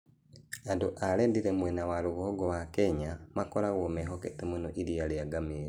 Andũ a Rendille mwena wa rũgongo wa Kenya makoragwo mehokete mũno iria rĩa ngamĩĩra.